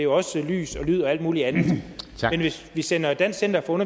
også lys lyd og alt muligt andet men hvis vi sender dansk center for